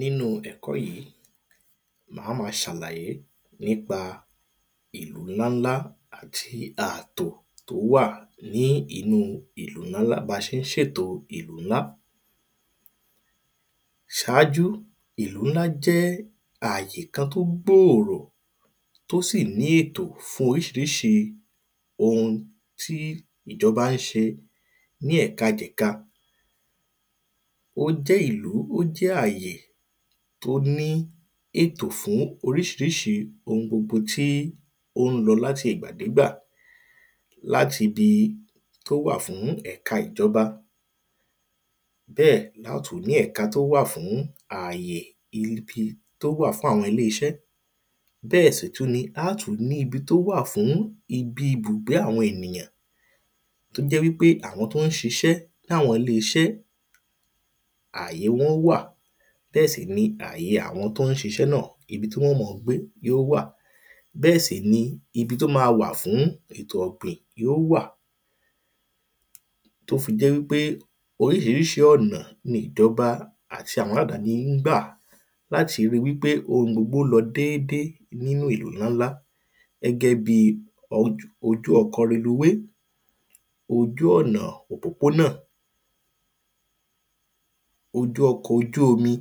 nínú ẹ̀kó yí má má ṣàlàyé nípa ìlú ńlá ńlá àti àtò tó wà ní inú ba ṣe ń ṣè tò ìlú ńlá ṣáájú ìlú ńlá jẹ́ àyè kan tó gbóòrò tó sì ní ètò fún oríṣiriṣi ohun tí ìjọba ń ṣe ní ẹ̀ka jẹ̀ka ó jẹ́ àyè tó ní ètò fún oríṣiriṣi ohun gbogbo tí ó ń lọ láti ìgbà dégbà láti di tó wà fún ẹ̀ka ìjọba bẹ́ẹ̀ lọ́tún ní ẹ̀ka tó wà fún àyè ibi tó wà fún àwọn ilé iṣẹ́ bẹ́ẹ̀ sì tú ni á tú ní ibi tó wà fún ibi ibùgbé àwọn enìyàn tó jẹ́ wípé àwọn tó ń ṣiṣẹ́ làwọn ilé iṣẹ́ àyè wọ́n wà bẹ́ẹ̀ sì ni àyè àwọn tó ń ṣiṣẹ́ ibi tí wọ́n ó mọ gbé yó wà bẹ́ẹ̀ sì ni ibi tó ma wà fún ètò ọ̀gbìn yó wà tó fi jẹ́ wípé oríṣiriṣi ọ̀nà ní ìjọba ati àwọn agbàni ń gbà láti ri wípé ohun gbogbo lọ déédé nínú ìlú ńlá ńlá gẹ́gẹ́ bí ojú ọkọ̀ reluwé ojú ọ̀nà òpópónà ọkọ̀ ojú omi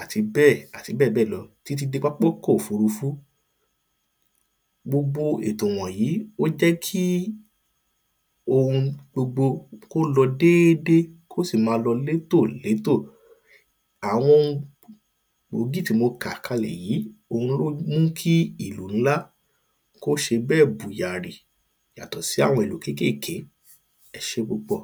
àti bẹ́ẹ̀ àti bẹ́ẹ̀ bẹ́ẹ̀ lọ ti tí dé pápákọ̀ òfurufú gbogbo ètò wọ̀nyí ó jẹ́ kí ohun gbogbo ó lọ dédé kó sì ma lọ létò létò àwọn gbòógì tí mo kà kalẹ̀ yí òun ló ń mú kí ìlú ńlá kó ṣe bẹ́ẹ̀ bùyàri yàtọ̀ sí àwọn ìlú kékèké ẹ ṣé púpọ̀